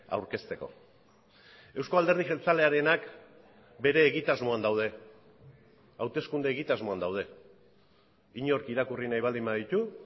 aurkezteko euzko alderdi jeltzalearenak bere egitasmoan daude hauteskunde egitasmoan daude inork irakurri nahi baldin baditu